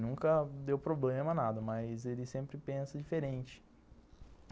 Nunca deu problema nada, mas ele sempre pensa diferente.